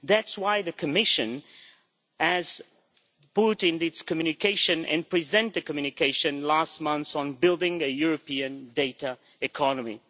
That is why the Commission has put in its communication and presented a communication last month on building up a European data economy.